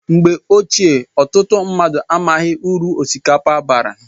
Mgbe ochie ọtụtụ mmadụ amaghị uru osikapa bara